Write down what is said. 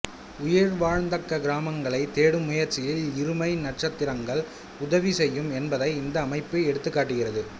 உயிர் வாழத்தக்க கிரகங்களைத் தேடும் முயற்சியில் இருமை நட்சத்திரங்கள் உதவி செய்யும் என்பதை இந்த அமைப்பு எடுத்துக் காட்டுகிறது